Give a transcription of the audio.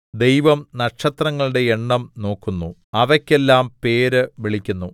ദൈവം നക്ഷത്രങ്ങളുടെ എണ്ണം നോക്കുന്നു അവയ്ക്ക് എല്ലാം പേര് വിളിക്കുന്നു